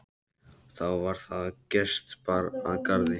Þá var það að gest bar að garði.